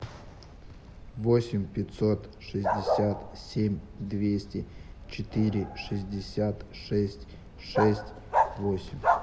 восемь пятьсот шестьдесят семь двести четыре шестьдесят шесть шесть восемь